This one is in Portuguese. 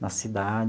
Na cidade.